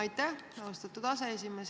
Aitäh, austatud aseesimees!